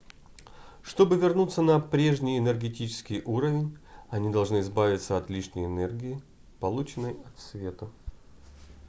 чтобы вернуться на прежний энергетический уровень они должны избавиться от лишней энергии полученной от света